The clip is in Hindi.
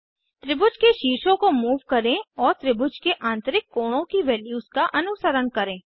त्रिभुज के शीर्षों को मूव करें और त्रिभुज के आंतरिक कोणों की वैल्यूज का अनुसरण करें